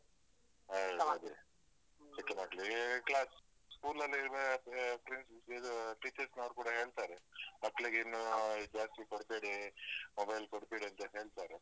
ಹೌದು ಅದೇ. ಚಿಕ್ಕ ಮಕ್ಳಿಗೆ, class, school ಲ್ಲಿ ಇರ್ಬೇಕಾಗತ್ತದೆ. friends ಅಹ್ ಇದು teacher’s ನವರೂ ಕೂಡ ಹೇಳ್ತಾರೆ. ಮಕ್ಳಿಗೆ ಇನ್ನು ಅಹ್ ಜಾಸ್ತಿ ಕೊಡ್ಬೇಡಿ, mobile ಕೊಡ್ಬೇಡಿ ಅಂತ ಹೇಳ್ತಾರೆ.